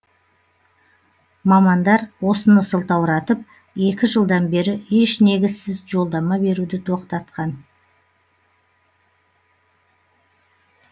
мамандар осыны сылтауратып екі жылдан бері еш негізсіз жолдама беруді тоқтатқан